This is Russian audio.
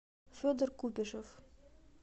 федор купишев